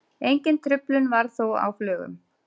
Engin truflun varð þó á flugum